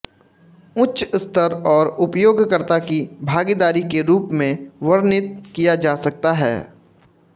उच्च स्तर और उपयोगकर्ता की भागीदारी के रूप में वर्णित किया जा सकता है